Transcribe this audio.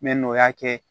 n'o y'a kɛ